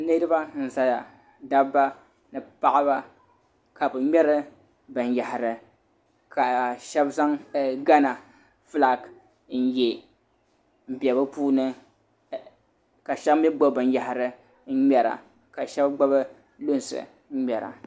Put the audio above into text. Niraba n ʒɛya dabba ni paɣaba ka bi ŋmɛri binyahari ka shab zaŋ gana fulaaki n yɛ n bɛ bi puuni ka shab mii gbubi binyahari n ŋmɛra ka shab gbubi lunsi n ŋmɛra